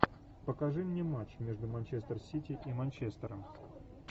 покажи мне матч между манчестер сити и манчестером